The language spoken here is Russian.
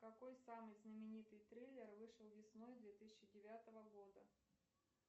какой самый знаменитый трейлер вышел весной две тысячи девятого года